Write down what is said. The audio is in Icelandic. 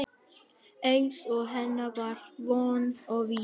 Eins og hennar var von og vísa.